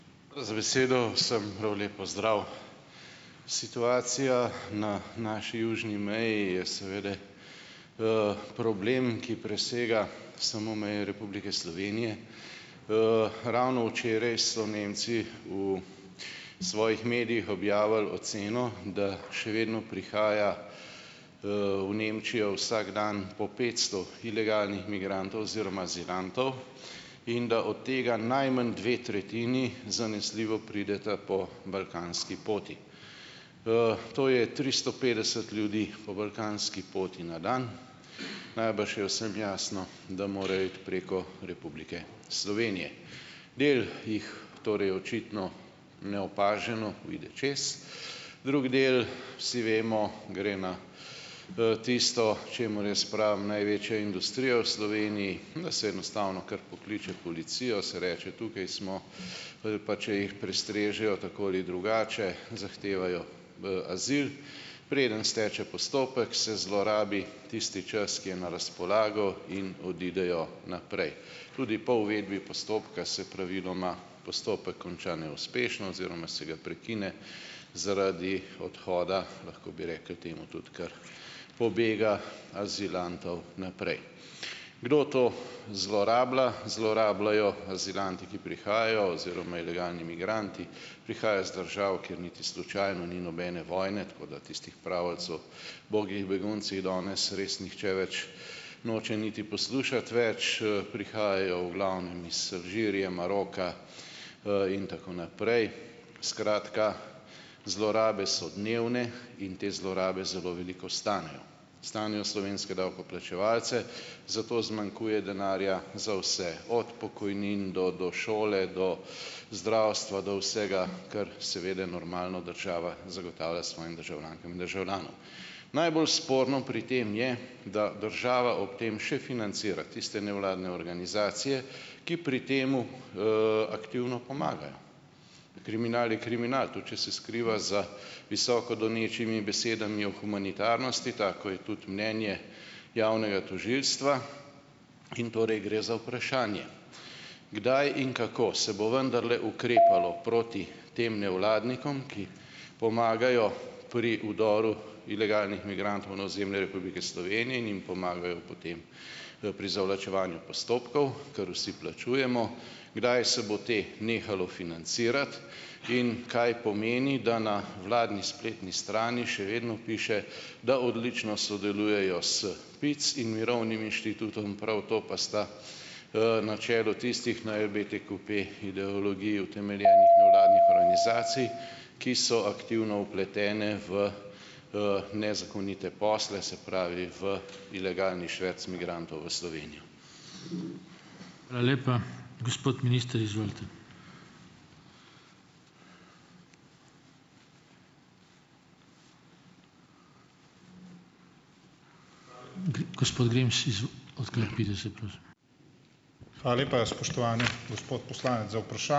()z besedo. Vsem prav lep pozdrav. Situacija na naši južni meji je seveda, problem, ki presega samo meje Republike Slovenije. ravno včeraj so Nemci v svojih medijih objavili oceno, da še vedno prihaja, v Nemčijo vsak dan po petsto ilegalnih migrantov oziroma azilantov in da od tega najmanj dve tretjini zanesljivo prideta po balkanski poti. to je tristo petdeset ljudi po balkanski poti na dan. Najbrž je vsem jasno, da mora iti preko Republike Slovenije. Del jih torej očitno neopaženo pride čez, drugi del, vsi vemo, gre na tisto, čemur jaz pravim največja industrija v Sloveniji , da se enostavno kar pokliče policijo, se reče tukaj smo, pa, če jih prestrežejo tako ali drugače, zahtevajo v azil. Preden steče postopek, se zlorabi tisti čas, ki je na razpolago in odidejo naprej. Tudi po uvedbi postopka se praviloma postopek konča neuspešno oziroma se ga prekine, zaradi odhoda, lahko bi rekli temu tudi kar pobega azilantov naprej. Kdo to zlorablja? Zlorabljajo azilanti, ki prihajajo oziroma ilegalni migranti. Prihajajo iz držav, kjer niti slučajno ni nobene vojne, tako da tistih pravljici o ubogih beguncih danes res nihče več noče niti poslušati več, prihajajo v glavnem iz Alžirije, Maroka, in tako naprej. Skratka, zlorabe so dnevne in te zlorabe zelo veliko stanejo. Stanejo slovenske davkoplačevalce, zato zmanjkuje denarja za vse, od pokojnin do, do šole, do zdravstva, do vsega, kar seveda normalno država zagotavlja svojim državljankam in državljanom. Najbolj sporno pri tem je, da država ob tem še financira tiste nevladne organizacije, ki pri tem, aktivno pomagajo. Kriminal je kriminal. Tudi če se skriva za visoko donečimi besedami o humanitarnosti, tako je tudi mnenje javnega tožilstva in torej gre za vprašanje, kdaj in kako se bo vendarle ukrepalo proti tem nevladnikom, ki pomagajo pri vdoru ilegalnih migrantov na ozemlje Republike Slovenije in jim pomagajo potem, pri zavlačevanju postopkov, kar vsi plačujemo. Kdaj se bo te nehalo financirati in kaj pomeni, da na vladni spletni strani še vedno piše, da odlično sodelujejo s PIC in Mirovnim inštitutom, prav to pa sta, na čelu tistih, na LBTQP ideologiji utemeljenih nevladnih organizacij , ki so aktivno vpletene v, nezakonite posle, se pravi v ilegalni šverc migrantov v Slovenijo. Hvala lepa. Gospod minister, izvolite. gospod Grims se prosim.